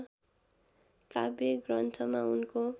काव्य ग्रन्थमा उनको